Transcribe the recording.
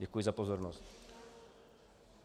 Děkuji za pozornost.